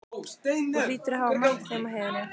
Þú hlýtur að hafa mætt þeim á heiðinni.